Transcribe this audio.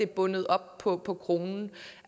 bundet op på på kronen